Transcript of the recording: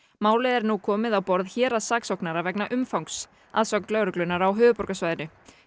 málið er nú komið á borð héraðssaksóknara vegna umfangs að sögn lögreglunnar á höfuðborgarsvæðinu